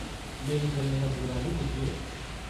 मेरी गल्लें दा बुरा नेईं बुज्झेओ ।